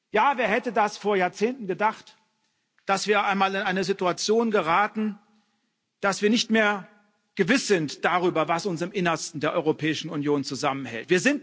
Ja, wer hätte das vor Jahrzehnten gedacht, dass wir einmal in eine Situation geraten, dass wir nicht mehr gewiss sind darüber, was uns im Innersten der Europäischen Union zusammenhält.